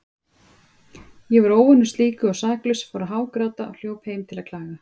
Ég var óvanur slíku og saklaus, fór að hágráta og hljóp heim til að klaga.